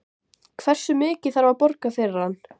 Hversu mikið þarf að borga fyrir hann?